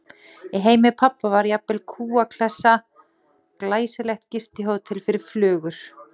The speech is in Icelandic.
Í heimi pabba var jafnvel kúa- hlessan glæsilegt gistihótel fyrir flugur.